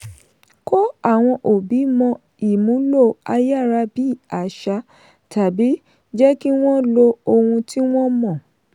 kó àwọn òbí mọ ìmúlò ayárabíàṣá tàbí jẹ́ kí wọ́n lo ohun tí wọ́n mọ̀.